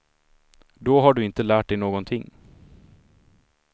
Då har du inte lärt dig någonting.